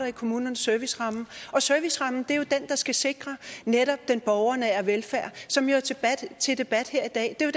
i kommunernes serviceramme og servicerammen er jo den der skal sikre netop den borgernære velfærd som er til debat her i dag det er